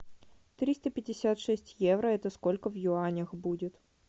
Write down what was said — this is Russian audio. триста пятьдесят шесть евро это сколько в юанях будет